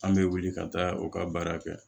An bɛ wuli ka taa u ka baara kɛ